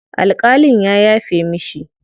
Alƙalin ya yafe mishi.